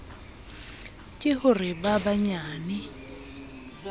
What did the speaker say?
ke ho re ba banyane